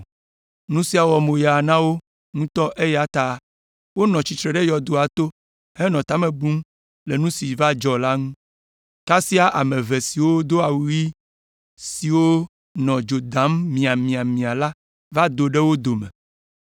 Nu sia wɔ moya na wo ŋutɔ eya ta wonɔ tsitre ɖe yɔdoa to henɔ ta me bum le nu si dzɔ ŋu, kasia ame eve siwo do awu ɣi siwo nɔ dzo dam miamiamia la va do ɖe wo dome.